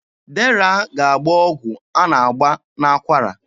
Dera ga-agba ọgwụ a na-agba n'akwara.